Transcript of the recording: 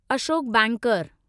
Ashok banker